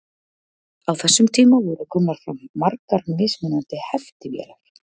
á þessum tíma voru komnar fram margar mismunandi heftivélar